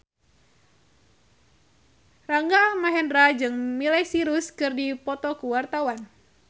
Rangga Almahendra jeung Miley Cyrus keur dipoto ku wartawan